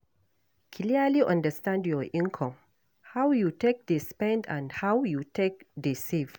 Clearly understand your income, how you take dey spend and how you take dey save